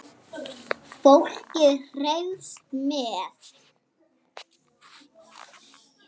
Fólkið hreifst með.